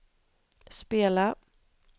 spela